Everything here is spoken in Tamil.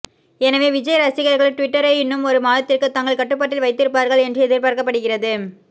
எனவே விஜய் ரசிகர்கள் டுவிட்டரை இன்னும் ஒரு மாதத்திற்கு தங்கள் கட்டுப்பாட்டில் வைத்திருப்பார்கள் என்று எதிர்பார்க்கப்படுகிறது